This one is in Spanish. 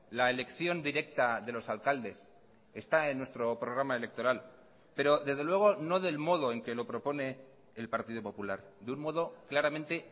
la elección directa de los alcaldes está en nuestro programa electoral pero desde luego no del modo en que lo propone el partido popular de un modo claramente